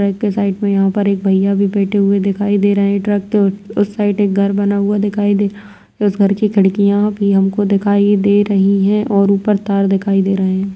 ट्रक के साइड में यहाँ पर एक भैया भी बैठे हुए दिखाई दे रहे हैं ट्रक के उ-उस साइड एक घर बना हुआ दिखाई दे रहा उस घर की खिड़कियाँ भी हमको दिखाई दे रही हैं और ऊपर तार दिखाई दे रहे हैं।